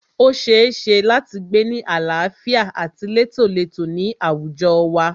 O ṣeéṣe láti gbé ni àlàáfíà àti létólètó ní àwùjọ wa.